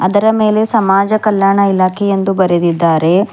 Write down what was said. ಅದರ ಮೇಲೆ ಸಮಾಜ ಕಲ್ಯಾಣ ಇಲಾಖೆ ಎಂದು ಬರೆದಿದ್ದಾರೆ.